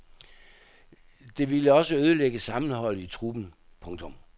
Det ville også ødelægge sammenholdet i truppen. punktum